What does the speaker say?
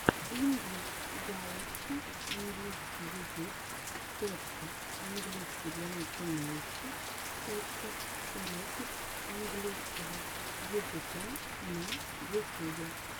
инглиш галакси английский язык точка английский для начинающих точка уроки английского языка на ютюбе